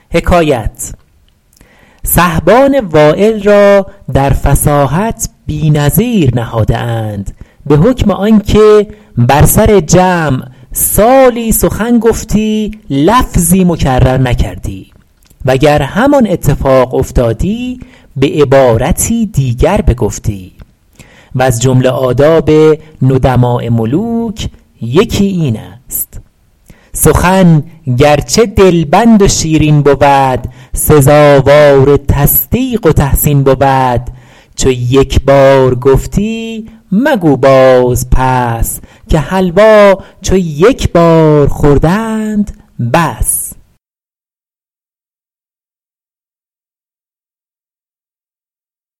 سحبان وایل را در فصاحت بی نظیر نهاده اند به حکم آن که بر سر جمع سالی سخن گفتی لفظی مکرر نکردی وگر همان اتفاق افتادی به عبارتی دیگر بگفتی وز جمله آداب ندماء ملوک یکی این است سخن گرچه دلبند و شیرین بود سزاوار تصدیق و تحسین بود چو یک بار گفتی مگو باز پس که حلوا چو یک بار خوردند بس